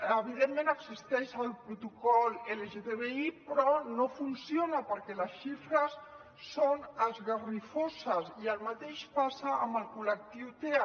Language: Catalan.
evidentment existeix el protocol lgtbi però no funciona perquè les xifres són esgarrifoses i el mateix passa amb el col·lectiu tea